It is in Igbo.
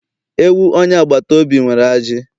Ewu onye agbata obi nwere ajị